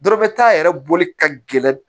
Dɔ bɛ taa yɛrɛ boli ka gɛlɛn